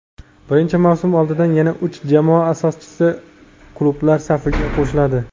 Birinchi mavsum oldidan yana uch jamoa asoschi klublar safiga qo‘shiladi.